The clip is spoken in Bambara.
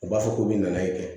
U b'a fɔ k'u bɛ na i kɛ